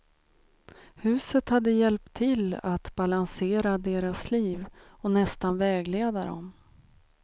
Huset hade hjälpt till att balansera deras liv, och nästan vägleda dem.